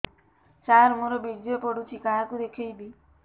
ସାର ମୋର ବୀର୍ଯ୍ୟ ପଢ଼ୁଛି କାହାକୁ ଦେଖେଇବି